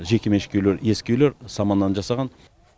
жекеменшік үйлер ескі үйлер саманнан жасаған